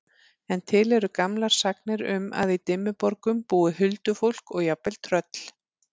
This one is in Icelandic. En til eru gamlar sagnir um að í Dimmuborgum búi huldufólk og jafnvel tröll.